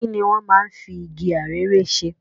Kini wọ́n máa ń fi igi arère ṣe?